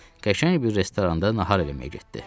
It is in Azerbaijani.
Sonra isə qəşəng bir restoranda nahar eləməyə getdi.